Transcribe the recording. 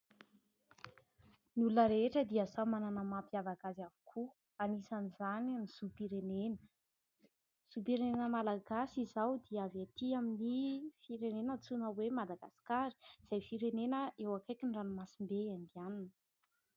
Ny olona rehetra dia samy manana ny mampiavaka azy avokoa, anisan'izany ny zom-pirenena. Ny zom-pirenena malagasy izao dia avy ety amin'ny firenena antsoina hoe Madagasikara izay firenena eo akaikin'ny ranomasimbe Indianina.